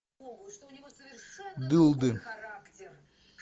дылды